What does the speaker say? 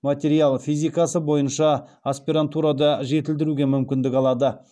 материал физикасы бойынша аспирантурада жетілдіруге мүмкіндік алады